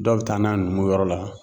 Dɔw bɛ taa n'a ye numuw yɔrɔ la